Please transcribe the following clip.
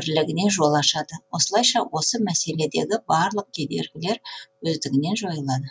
бірлігіне жол ашады осылайша осы мәселедегі барлық кедергілер өздігінен жойылады